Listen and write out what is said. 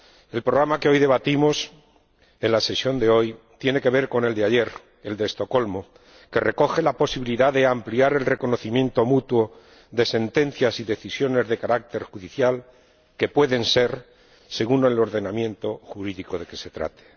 El programa que hoy debatimos en esta sesión tiene que ver con el de ayer, el de Estocolmo, que recoge la posibilidad de ampliar el reconocimiento mutuo de sentencias y decisiones de carácter judicial, según el ordenamiento jurídico de que se trate.